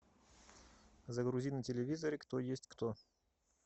загрузи на телевизоре кто есть кто